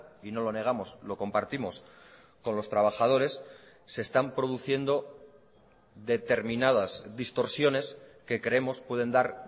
y no lo negamos lo compartimos con los trabajadores se están produciendo determinadas distorsiones que creemos pueden dar